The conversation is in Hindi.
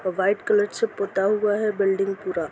वाइट कलर से पोता हुआ है बिल्डिंग पूरा।